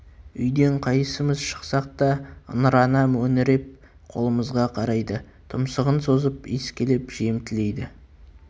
үйден қайсымыз шықсақ та ыңырана мөңіреп қолымызға қарайды тұмсығын созып иіскелеп жем тілейді